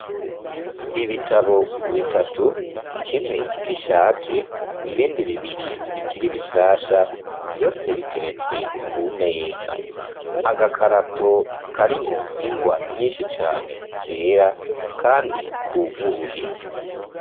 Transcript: Ibitabo bitatu kimwe gishaje ibindi bibiri bikiri bishasha vyose biteretswe ku meza, agakarato karimwo ingwa nyinshi cane zera kandi kuguruye.